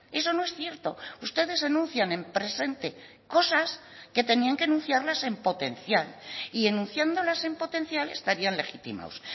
eso no es cierto ustedes enuncian en presente cosas que tenían que anunciarlas en potencial y enunciándolas en potencial estarían legitimados